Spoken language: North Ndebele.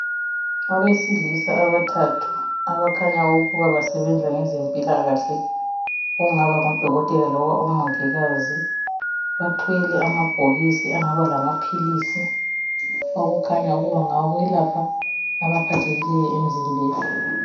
Abesilisa abathathu abakhanya ukuba basebenza ngezempilakahle okungaba ngodokotela loba omongikazi, bathwele amabhokisi angaba lamaphilisi okukhanya ukuba ngawokwelapha abaphathekileyo emzimbeni.